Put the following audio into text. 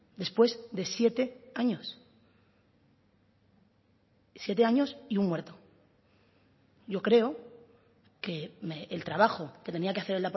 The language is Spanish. después de siete años siete años y un muerto yo creo que el trabajo que tenía que hacer